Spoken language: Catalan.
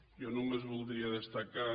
jo només voldria destacar